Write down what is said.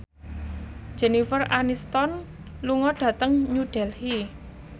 Jennifer Aniston lunga dhateng New Delhi